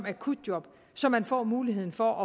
akutjob så man får muligheden for